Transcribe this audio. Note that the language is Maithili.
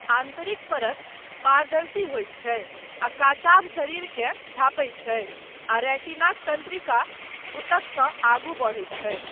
आन्तरिक परत पारदर्शी होइत छै आ काचाभ शरीरकेँ झाँपैत छै, आ रेटिनाक तन्त्रिका ऊतकसँ आगू बढ़ैत छै।